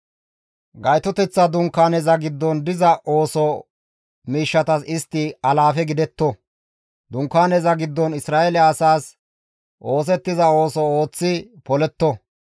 Gaytoteththa Dunkaaneza giddon diza ooso miishshatas istta alaafe gidetto; Dunkaaneza giddon Isra7eele asaas oosettiza ooso ooththi poletto.